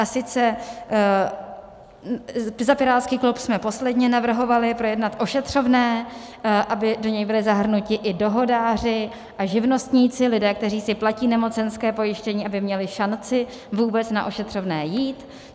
A sice, za pirátský klub jsme posledně navrhovali projednat ošetřovné, aby do něj byli zahrnuti i dohodáři a živnostníci, lidé, kteří si platí nemocenské pojištění, aby měli šanci vůbec na ošetřovné jít.